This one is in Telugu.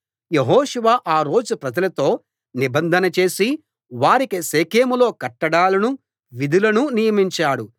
యెహోషువ ఆ రోజు ప్రజలతో నిబంధన చేసి వారికి షెకెంలో కట్టడలనూ విధులనూ నియమించాడు